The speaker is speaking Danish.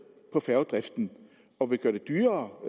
på færgedriften og vil gøre det dyrere